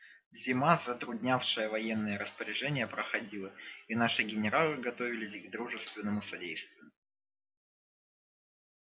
зима затруднявшая военные распоряжения проходила и наши генералы готовились к дружественному содействию